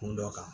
Kun dɔ kan